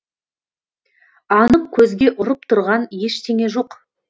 анық көзге ұрып тұрған ештеңе жоқ